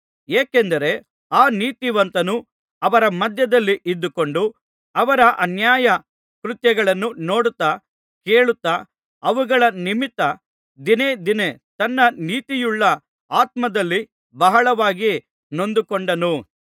ಏಕೆಂದರೆ ಆ ನೀತಿವಂತನು ಅವರ ಮಧ್ಯದಲ್ಲಿ ಇದ್ದುಕೊಂಡು ಅವರ ಅನ್ಯಾಯ ಕೃತ್ಯಗಳನ್ನು ನೋಡುತ್ತಾ ಕೇಳುತ್ತಾ ಅವುಗಳ ನಿಮಿತ್ತ ದಿನೇ ದಿನೇ ತನ್ನ ನೀತಿಯುಳ್ಳ ಆತ್ಮದಲ್ಲಿ ಬಹಳವಾಗಿ ನೊಂದುಕೊಂಡನು